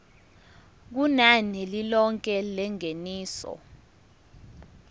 kunani lilonke lengeniso